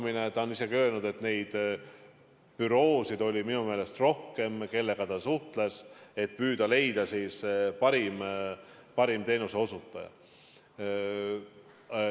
Minu meelest on ta isegi öelnud, et neid büroosid oli rohkem, kellega ta suhtles, et leida parim teenuseosutaja.